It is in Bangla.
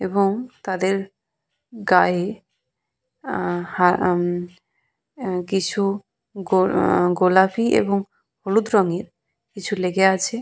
এবং তাদের গায়ে আহ হা উম উম কিছু গো গোলাপি এবং হলুদ রঙের কিছু লেগে আছে।